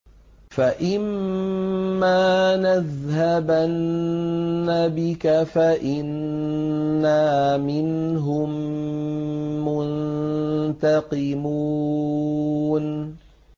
فَإِمَّا نَذْهَبَنَّ بِكَ فَإِنَّا مِنْهُم مُّنتَقِمُونَ